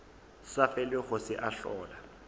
sa felego se a hlola